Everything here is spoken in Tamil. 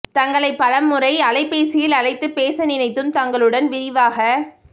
தங்களைப் பல முறை அலைபேசியில் அழைத்துப் பேச நினைத்தும் தங்களுடன் விரிவாக